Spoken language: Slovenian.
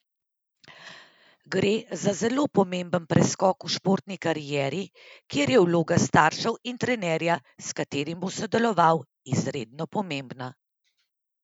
Gre za zelo pomemben preskok v športni karieri, kjer je vloga staršev in trenerja, s katerim bo sodeloval, izredno pomembna.